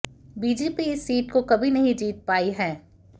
BJP इस seat को कभी नहीं जीत पाई है